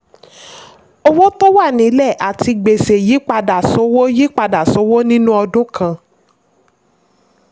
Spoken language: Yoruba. owó tó wà nílẹ̀ àti gbèsè yípadà sówó yípadà sówó nínú ọdún kan.